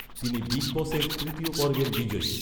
তিনি বিগ বসের তৃতীয় পর্বের বিজয়ী।